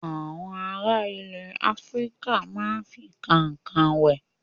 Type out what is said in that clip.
Àwọn ará ilẹ̀ Áfíríkà máa ń fi kànkàn wẹ̀.